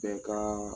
Bɛɛ ka